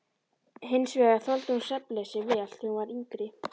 Hins vegar þoldi hún svefnleysi vel þegar hún var yngri.